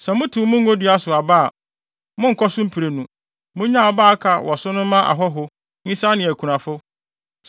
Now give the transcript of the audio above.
Sɛ motew wo ngonnua so aba a, monkɔ so mprenu. Monnyaw aba a aka wɔ so no mma ahɔho, nyisaa ne akunafo.